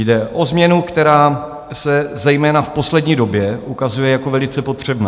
Jde o změnu, která se zejména v poslední době ukazuje jako velice potřebná.